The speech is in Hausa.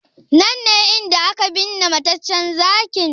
Nan ne inda aka binne mataccen Zakin?